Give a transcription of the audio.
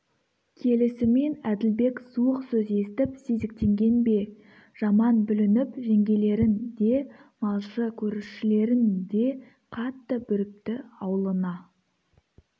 келісімен әділбек суық сөз естіп сезіктенген бе жаман бүлініп жеңгелерін де малшы-көршілерін де қатты бүріпті аулына